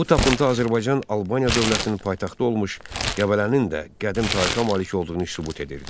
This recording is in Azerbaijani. Bu tapıntı Azərbaycan Albaniya dövlətinin paytaxtı olmuş Qəbələnin də qədim tarixə malik olduğunu sübut edirdi.